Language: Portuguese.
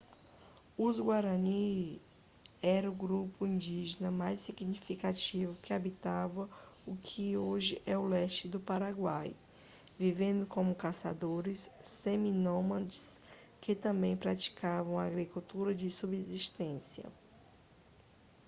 os guarani eram o grupo indígena mais significativo que habitava o que hoje é o leste do paraguai vivendo como caçadores seminômades que também praticavam a agricultura de subsistência